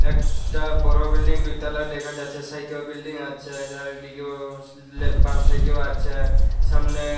একটা বড়ো বিল্ডিং দুইতলা দেখা যাচ্ছে সাইডেও বিল্ডিং আছে চারিদিকেও ল বাম সাইডেও আছে সামনে--